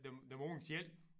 Dem dem unge selv